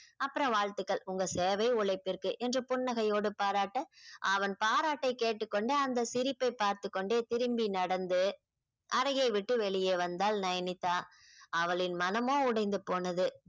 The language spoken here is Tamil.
அப்புறம் வாழ்த்துக்கள் உங்க சேவை உழைப்பிற்கு என்று புன்னகையோடு பாராட்ட அவன் பாராட்டை கேட்டுக் கொண்டு அந்த சிரிப்பை பார்த்துக் கொண்டே திரும்பி நடந்து அறையை விட்டு வெளியே வந்தாள் நயனித்தா அவளின் மனமோ உடைந்து போனது